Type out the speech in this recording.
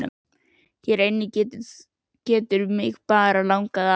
Hér inni getur mig bara langað að.